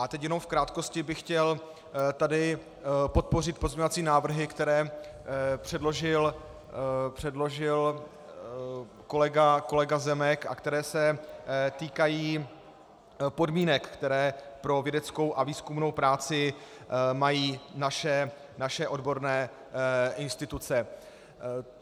A teď jenom v krátkosti bych chtěl tady podpořit pozměňovací návrhy, které přeložil kolega Zemek a které se týkají podmínek, které pro vědeckou a výzkumnou práci mají naše odborné instituce.